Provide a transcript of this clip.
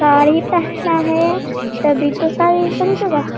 साड़ी पहना है तभी तो साड़ी खरीदेगा।